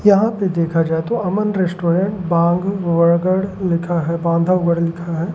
यहाँ पे देखा जाए तो अमन रेस्टोरेंट बांग वड़गड़ लिखा है बांधवगड़ लिखा है।